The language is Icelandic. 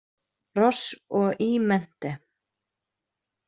Ross, og E Mente.